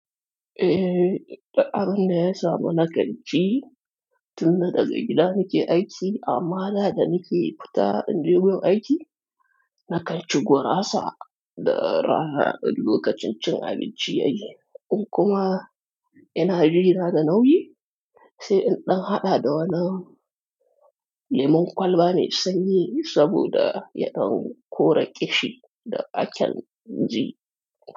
Eh, duk abinda ya samu nakan ci, tunda daga gida nake aiki, amma da da nake fita inje gun aiki, nakan ci gurasa. Da rana, in lokacin cin abinci yayi. In kuma ina jina da nauyi, sai in ɗan haɗa da wani lemon kwalba me sanyi saboda yaɗan kore ƙishi da a kan ji.